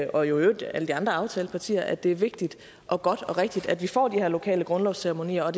og øvrigt alle de andre aftalepartier i at det er vigtigt og godt og rigtigt at vi får de her lokale grundlovsceremonier og